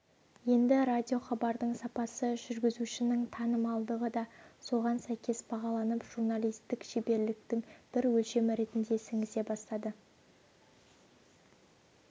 енді радиохабардың сапасы жүргізушінің танымалдығы да соған сәйкес бағаланып журналистік шеберліктің бір өлшемі ретінде сіңісе бастады